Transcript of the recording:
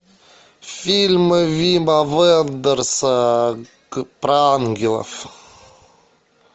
фильмы вима вендерса про ангелов